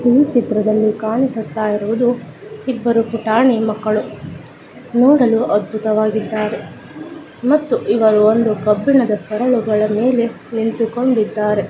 ಈ ಚಿತ್ರದಲ್ಲಿ ಕಾಣಿಸುತ್ತಾ ಇರುವುದು ಇಬ್ಬರು ಪುಟಾಣಿ ಮಕ್ಕಳು. ನೋಡಲು ಅದ್ಭುತವಾಗಿದ್ದಾರೆ. ಮತ್ತು ಇವರು ಒಂದು ಕಬ್ಬಿಣದ ಸರಳಗಳ ಮೇಲೆ ನಿಂತುಕೊಂಡಿದ್ದಾರೆ .